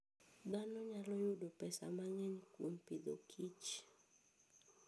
Dhano nyalo yudo pesa mang'eny kuom Agriculture and Food.